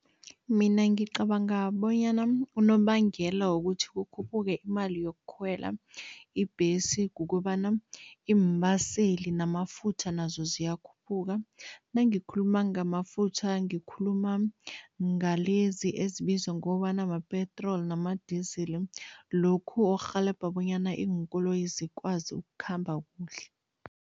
Mina ngicabanga bonyana unobangela wokuthi kukhuphuke imali yokukhwela ibhesi kukobana iimbaseli namafutha nazo ziyakhuphuka. Nangikhuluma ngamafutha, ngikhuluma ngalezi ezibizwa ngokobana ma-petrol nama-diesel, lokhu orhelebha bonyana iinkoloyi zikwazi ukukhamba kuhle.